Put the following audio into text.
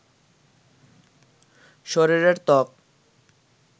শরীরের ত্বক